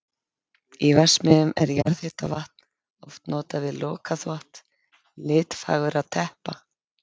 Í verksmiðjum er jarðhitavatn oft notað við lokaþvott litfagurra teppa.